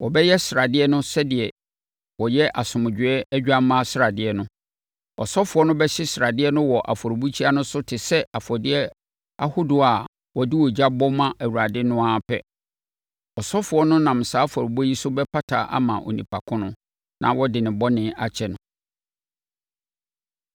Wɔbɛyɛ sradeɛ no sɛdeɛ wɔyɛ asomdwoeɛ odwammaa sradeɛ no. Ɔsɔfoɔ no bɛhye sradeɛ no wɔ afɔrebukyia no so te sɛ afɔdeɛ ahodoɔ a wɔde ogya bɔ ma Awurade no ara pɛ. Ɔsɔfoɔ no nam saa afɔrebɔ yi so bɛpata ama onipa ko no, na wɔde ne bɔne bɛkyɛ no.